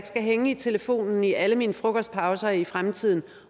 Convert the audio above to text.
skal hænge i telefonen i alle mine frokostpauser i fremtiden